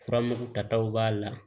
Furamugu taw b'a la